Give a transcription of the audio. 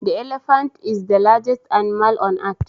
The elephant is the largest animal on earth.